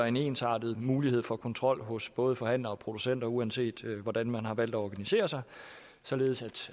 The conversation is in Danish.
en ensartet mulighed for kontrol hos både forhandlere og producenter uanset hvordan man har valgt at organisere sig således